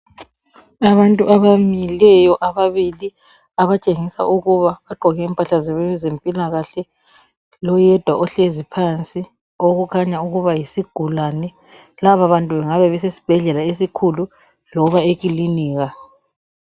Abantu abamileyo ababili abatshengisa ukuba bagqoke impahla zemoilakahle. Loyedwa ohlezi phansi okutshengisela ukuba yisigulane. Laba bantu bangabe besesibhedlela loba ekilinika.